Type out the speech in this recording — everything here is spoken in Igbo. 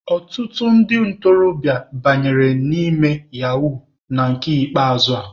Ọtụtụ ndị ntorobịa banyere ime yahuu na nke ikpeazụ a.